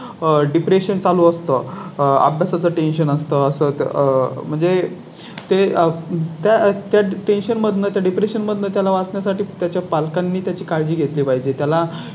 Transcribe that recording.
आह Depression चालू असतो. आंब्या चं Tension असतं असं म्हणजे ते त्या त्या Tension मध्ये Depression मध्ये त्याला वाचवण्या साठी त्याच्या पालकांनी त्या ची काळजी घेतली पाहिजे.